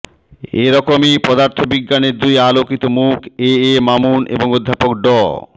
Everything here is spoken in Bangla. এরকমই পদার্থবিজ্ঞানের দুই আলোকিত মুখ এ এ মামুন এবং অধ্যাপক ড